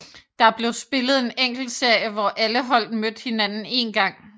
Der blev spillet en enkeltserie hvor alle hold mødte hinanden en gang